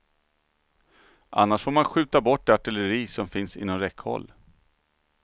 Annars får man skjuta bort det artilleri som finns inom räckhåll.